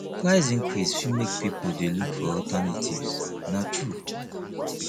price increase fit make pipo dey look for alternatives na true